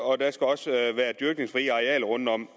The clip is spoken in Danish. og der skal også være dyrkningsfri arealer rundt om